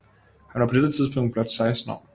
Han var på dette tidspunkt blot 16 år